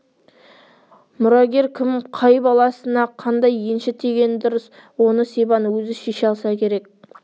мұрагер кім қай баласына қандай енші тигені дұрыс оны сибан өзі шеше алса керек